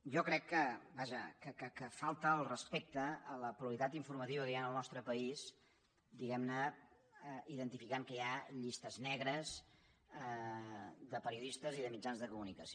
jo crec que vaja que falta el respecte a la pluralitat informativa que hi ha al nostre país diguemne identificant que hi ha llistes negres de periodistes i de mitjans de comunicació